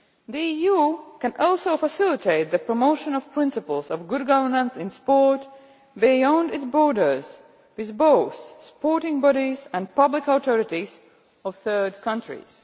The EU can also facilitate the promotion of principles of good governance in sport beyond its borders, with both the sporting bodies and the public authorities of third countries.